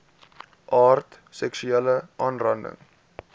aard seksuele aanranding